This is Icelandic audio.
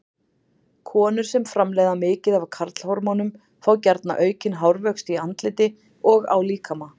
Konur sem framleiða mikið af karlhormónum fá gjarna aukinn hárvöxt í andliti og á líkama.